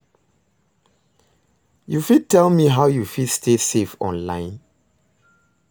you fit tell me how you fit stay safe online?